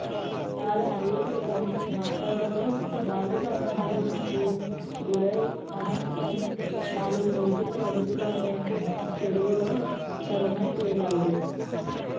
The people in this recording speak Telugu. ఆరు నెలల క్రితం మాచర్లలో బాలుడు అపహరణకు గురై అనంతరం నాలుగు రోజుల వ్యవధిలోనే చెరువులో శవమై తేలాడు